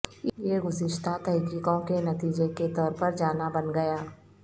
یہ گزشتہ تحقیقوں کے نتیجے کے طور پر جانا بن گیا